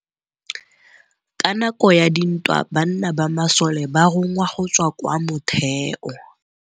Ka nakô ya dintwa banna ba masole ba rongwa go tswa kwa mothêô.